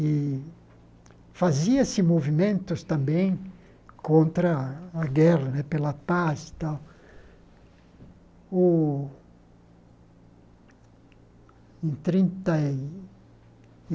E fazia-se movimentos também contra a guerra né, pela paz e tal. O em trinta e